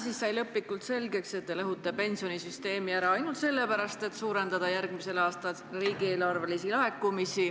Täna sai lõplikult selgeks, et te lõhute pensionisüsteemi ära ainult sellepärast, et suurendada järgmisel aastal riigieelarvelisi laekumisi,